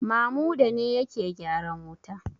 Mamuda ne yake gyaran wuta?